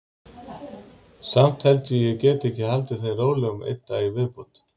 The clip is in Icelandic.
Samt held ég að ég geti haldið þeim rólegum einn dag í viðbót.